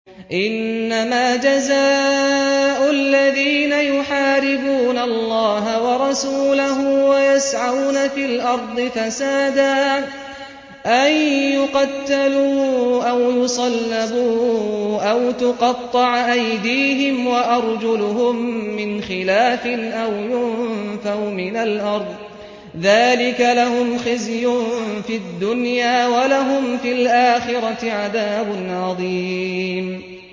إِنَّمَا جَزَاءُ الَّذِينَ يُحَارِبُونَ اللَّهَ وَرَسُولَهُ وَيَسْعَوْنَ فِي الْأَرْضِ فَسَادًا أَن يُقَتَّلُوا أَوْ يُصَلَّبُوا أَوْ تُقَطَّعَ أَيْدِيهِمْ وَأَرْجُلُهُم مِّنْ خِلَافٍ أَوْ يُنفَوْا مِنَ الْأَرْضِ ۚ ذَٰلِكَ لَهُمْ خِزْيٌ فِي الدُّنْيَا ۖ وَلَهُمْ فِي الْآخِرَةِ عَذَابٌ عَظِيمٌ